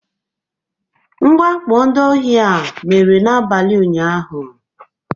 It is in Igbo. Mwakpo ndị ohi a mere n'abalị ụnyahụ